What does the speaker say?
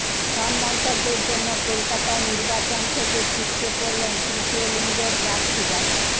সব মন্তব্যের জন্য কলকাতায় নির্বাচন থেকে ছিটকে পড়লেন তৃতীয় লিঙ্গের প্রার্থীরা